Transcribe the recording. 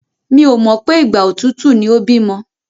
Mi ò mọ̀ pé ìgbà òtútù ni ó bímọ.